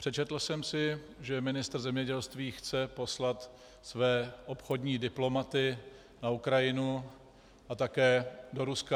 Přečetl jsem si, že ministr zemědělství chce poslat své obchodní diplomaty na Ukrajinu a také do Ruska.